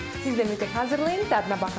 Siz də mütləq hazırlayın, dadına baxın.